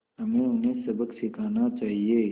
हमें उन्हें सबक सिखाना चाहिए